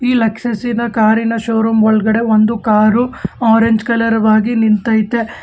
ಈ ಲೆಕ್ಷಸಿ ನ ಕಾರಿನ ಶೋರೂಮ್ ಒಳಗಡೆ ಒಂದು ಕಾರು ಆರೆಂಜ್ ಕಲರ್ ವಾಗಿ ನಿಂತೈತೆ.